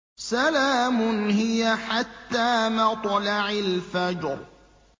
سَلَامٌ هِيَ حَتَّىٰ مَطْلَعِ الْفَجْرِ